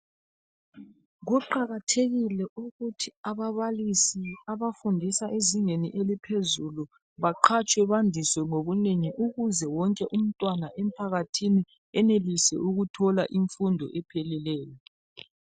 Kuqakathekile ukuthi ababalisi abafundisa ezingeni eliphezulu baqhatshwe bandiswe ngobunengi ukuze wonke umntwana emphakathini enelise ukuthola imfundo epheleleyo.